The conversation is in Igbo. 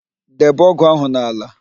Debe ógụ̀ ahụ n'ala!